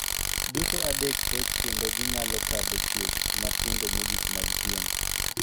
Duto adek koch kendo ginyalo kadho chuech matindo mogik mag pien.